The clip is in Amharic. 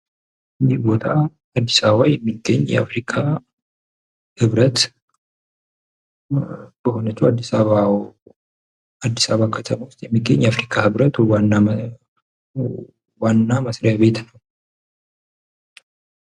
ይህ ቦታ አዲስ አበባ የሚገኘገኝ የአፍሪካ ህብረት ዋና መስሪያ ቤት ነው ።